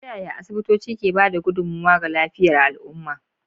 Ta yaya asibitoci ke ba da gudummawa ga lafiyar al'umma?